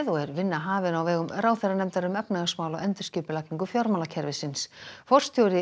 er vinna hafin á vegum ráðherranefndar um efnahagsmál og endurskipulagningu fjármálakerfisins forstjóri